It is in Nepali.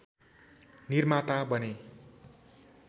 निर्माता बने